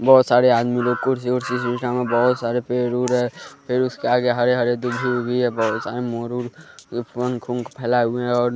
बहुत सारे आदमी लोग कुर्सी कुर्सी बहुत सारे पेर उर है फिर उसके आगे हरे हरे दूभी उभी है बहुत सारे मोर फंग उंख फैलाए हुए हैं और --